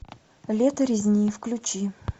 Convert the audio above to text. лето резни включи